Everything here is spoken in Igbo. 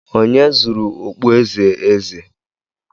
Onye zuru okpueze eze?